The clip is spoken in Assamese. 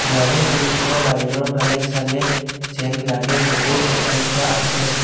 ইয়াৰে খিৰিকীৰে বাহিৰৰ ফালে চালে যেন লাগে বহুত অট্টালিকা আছে।